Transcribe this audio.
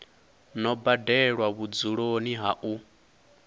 no badelwa vhudzuloni ha u